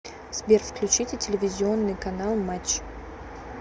сбер включите телевизионный канал матч